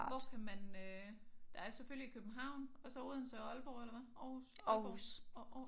Hvor kan man øh der er selvfølgelig i København og så Odense og Aalborg eller hvad? Aarhus Aalborg og